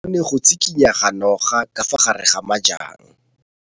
O bone go tshikinya ga noga ka fa gare ga majang.